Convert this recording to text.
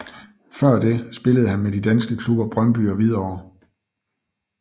Før det spillede han med de danske klubber Brøndby og Hvidovre